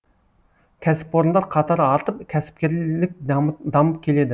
кәсіпорындар қатары артып кәсіпкерлік дамып келеді